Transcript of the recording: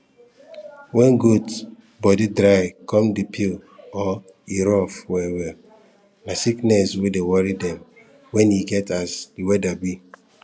when goat body dry come dey peel or e rough well well na sickness wey dey worry dem when e get as the weather be